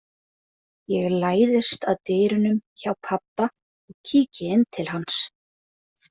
Ég læðist að dyrunum hjá pabba og kíki inn til hans.